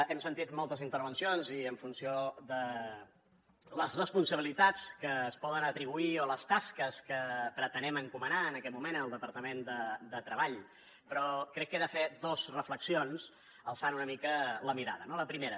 hem sentit moltes intervencions i en funció de les responsabilitats que es poden atribuir o les tasques que pretenem encomanar en aquest moment al departament de treball però crec que he de fer dos reflexions alçant una mica la mirada no la primera